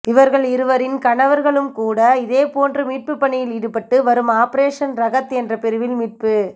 இவர்கள் இருவரின் கணவர்களும் கூட இதேபோன்று மீட்புப் பணியில் ஈடுபட்டு வரும் ஆபரேஷன் ரகத் என்ற பிரிவில் மீட்புப்